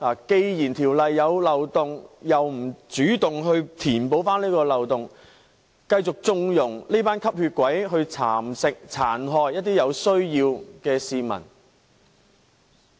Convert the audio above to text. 既然《條例》有漏洞，政府卻不主動填補，並繼續縱容"吸血鬼"蠶食和殘害一些有需要的市民。